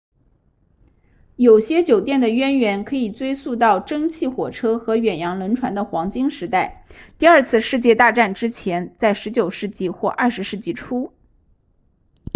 有些酒店的渊源可以追溯到蒸汽火车和远洋轮船的黄金时代第二次世界大战之前在19世纪或20世纪初